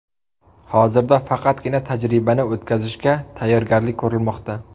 Hozirda faqatgina tajribani o‘tkazishga tayyorgarlik ko‘rilmoqda.